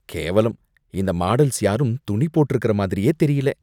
கேவலம்! இந்த மாடல்ஸ் யாரும் துணி போட்ருக்கற மாதிரியே தெரியல!